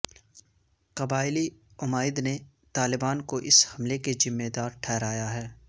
قبائلی عمائد نے طالبان کو اس حملے کا ذمے دار ٹھہرایا ہے